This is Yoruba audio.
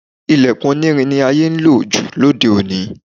Ìlẹ̀kùn onírin ni àyè ń lò jù lóde òní